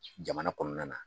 Jamana kɔnɔna na.